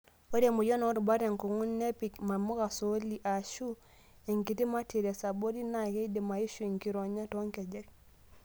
Ore emoyian oorubat tenkung'u, tenipik namuka sooli aashu enkiti matiress abori naa keidim aishu enkironya toonkejek.